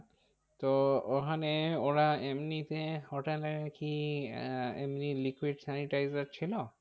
তো ওখানে ওরা এমনিতে hotel এ কি আহ এমনি liquid sanitizer ছিল?